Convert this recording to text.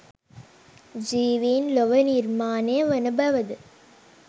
ජීවීන් ලොව නිර්මාණය වන බවද?